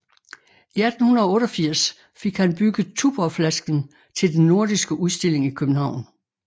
I 1888 fik han bygget Tuborgflasken til den nordiske udstilling i København